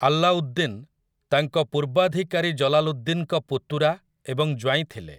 ଆଲାଉଦ୍ଦିନ୍ ତାଙ୍କ ପୂର୍ବାଧିକାରୀ ଜଲାଲୁଦ୍ଦିନ୍‌ଙ୍କ ପୁତୁରା ଏବଂ ଜ୍ୱାଇଁ ଥିଲେ ।